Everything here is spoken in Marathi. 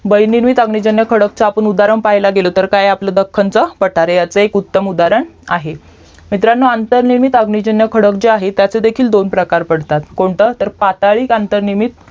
बाहिर निर्मित अग्निजन्य खडक चे आपण उदाहरण पाहायाला गेलो तर दक्खन च पठार एक उत्तम उदाहरण आहे मित्रांनो अंतरनिर्मित अग्निजन्य खडक आहे त्याचेही दोन प्रकार पडतात कोणतं तर पातळीक अंतरनिर्मित